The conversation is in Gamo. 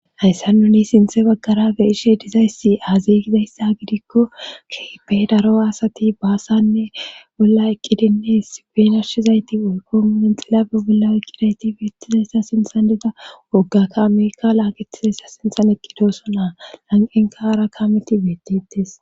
hayssa nuni sinthe baggara geishe dizayssi aziygidayssa gidikko keepe daro asati baasannebolla eqqidinnes guenarshizayti woykomunen xilabe bolla eqqidayti beettizayssa sinthan dida woggakka amerika laaqetizayssa sinthan eqqidoso naa lanqenkaara kaameti beetites